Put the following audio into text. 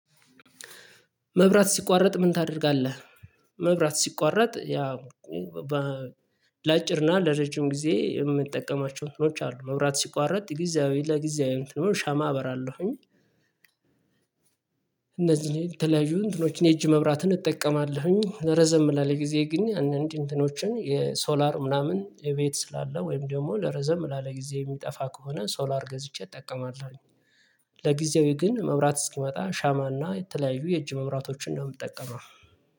መብራት ሲቋረጥ ምን ታደርጋለህ? መብራት ሲቋረጥ ያው በ ለአጭርና ለረጅም ጊዜ የምንጠቀማቸው እንትኖች አሉ። መብራት ሲቋረጥ ጊዜያዊ ለጊዜያዊ እንትኖች ሻማ አበራለሁኝ። እነዚህ ተለያዩ እንትኖችን የእጅ መብራትን እጠቀማለሁኝ። ረዘም ላለ ጊዜ ግን እንዲህ እንትኖችን የሶላር ምናምን የቤት ስላለ ወይም ደግሞ ለረዘም ላለ ጊዜ የሚጠፋ ከሆነ ሶላር ገዝቼ እጠቀማለሁኝ። ለጊዜው ግን መብራት እስኪመጣ ሻማና የተለያዩ የእጅ መብራቶችን ነው የምትጠቀመው።